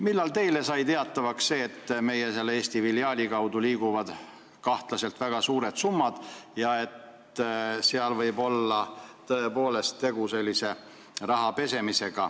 Millal teile sai teatavaks, et selle Eesti filiaali kaudu liiguvad kahtlaselt suured summad ja et seal võib olla tegu rahapesuga?